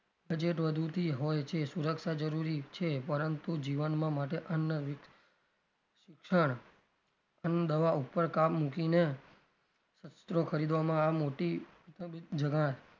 budget વધુ થી હોય છે સુરક્ષા જરૂરી છે પરંતુ જીવનમાં માટે અન્ન શિક્ષણ અને દવા ઉપર કામ મુકીને શસ્ત્રો ખરીદવામાં આ મોટી જણાય.